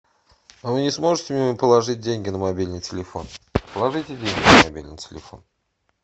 а вы не сможете мне положить деньги на мобильный телефон положите деньги на мобильный телефон